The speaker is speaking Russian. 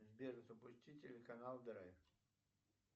сбер запусти телеканал драйв